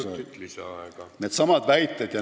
Kolm minutit lisaaega.